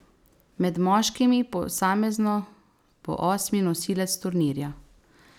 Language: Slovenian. Med moškimi posamezno bo osmi nosilec turnirja.